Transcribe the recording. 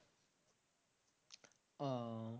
ওঃ